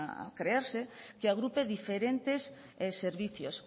a crearse que agrupe diferentes servicios